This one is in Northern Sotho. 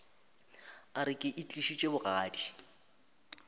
a re ke itlišitše bogadi